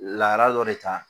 Lahala dɔ de ta